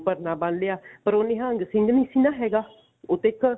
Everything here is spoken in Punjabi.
ਪਰਨਾ ਬੰਨ ਲਿਆ ਪਰ ਉਹ ਨਿਹੰਗ ਸਿੰਘ ਨਹੀਂ ਸੀ ਨਾ ਹੈਗਾ ਉਹ ਤੇ ਇੱਕ